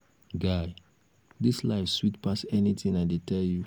guy dis life sweet pass anything l dey tell um you